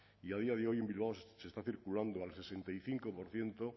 y a día de hoy en bilbao se está circulando al sesenta y cinco por ciento